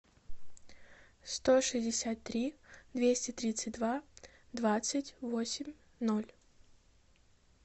сто шестьдесят три двести тридцать два двадцать восемь ноль